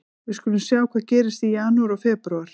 Við skulum sjá hvað gerist í janúar og febrúar.